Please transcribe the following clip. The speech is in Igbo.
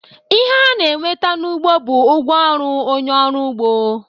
Ihe a na-enweta n'ugbo, bụ ụgwọ ọrụ onye ọrụ ugbo.